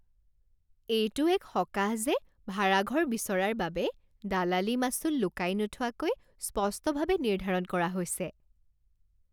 এইটো এক সকাহ যে ভাড়াঘৰ বিচৰাৰ বাবে দালালি মাচুল লুকাই নোথোৱাকৈ স্পষ্টভাৱে নিৰ্ধাৰণ কৰা হৈছে।